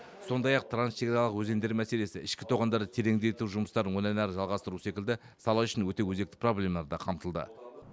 сондай ақ трансшекаралық өзендер мәселесі ішкі тоғандарды тереңдету жұмыстарын одан әрі жалғастыру секілді сала үшін өте өзекті проблемалар да қамтылды